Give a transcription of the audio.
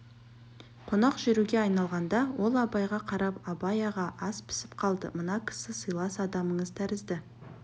қонақ жүруге айналғанда ол абайға қарап абай аға ас пісіп қалды мына кісі сыйлас адамыңыз тәрізді